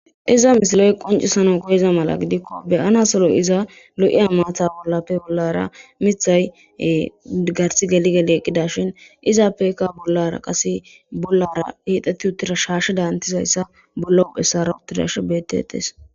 Izza misiley qoncisana mala koyizaysa gidiko beyanas lo'iza matta bollara garse geli geli eqidashin izzappeka bollara qase bollara hixeti uttida shashedanizaysa bollara garsara uttidashin betetes